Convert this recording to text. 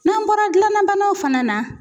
N'an bɔra gilanna banaw fana na